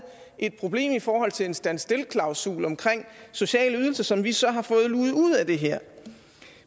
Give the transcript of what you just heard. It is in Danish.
et problem i forhold til en standstillklausul omkring sociale ydelser som vi så har fået luget ud af det her